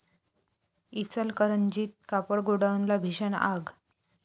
इचलकरंजीत कापड गोडाऊनला भीषण आग